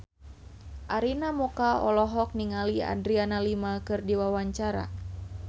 Arina Mocca olohok ningali Adriana Lima keur diwawancara